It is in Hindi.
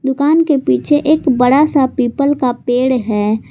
दुकान के पीछे एक बड़ा सा पीपल का पेड़ है।